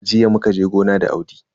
Jiya muka je gona da Audi.